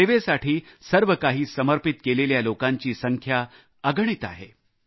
सेवेसाठी सर्व काही समर्पित केलेल्या लोकांची संख्या अगणित आहे